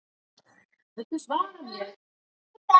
Daða líkar ekki gorgeirinn.